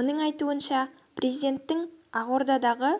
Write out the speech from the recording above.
оның айтуынша президенттің ақордадағы